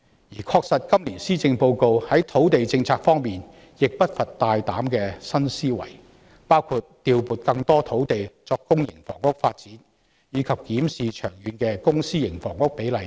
事實上，今年施政報告在土地政策方面並不乏大膽的新思維，包括調撥更多土地作公營房屋發展，以及檢視長遠的公私營房屋比例等。